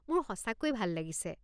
মোৰ সঁচাকৈয়ে ভাল লাগিছে।